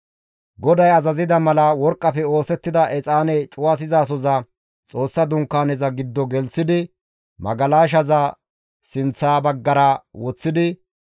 GODAY azazida mala, worqqafe oosettida exaane cuwasizasoza Xoossa Dunkaaneza giddo gelththidi magalashazas sinththa baggara woththidi,